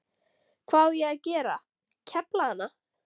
Hvað á ég að gera, kefla hana?